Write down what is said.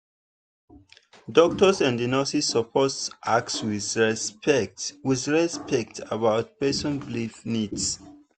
doctors and nurses suppose ask with respect with respect about person belief needs.